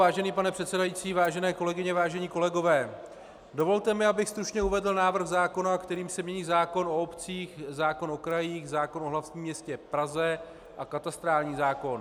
Vážený pane předsedající, vážené kolegyně, vážení kolegové, dovolte mi, abych stručně uvedl návrh zákona, kterým se mění zákon o obcích, zákon o krajích, zákon o hlavním městě Praze a katastrální zákon.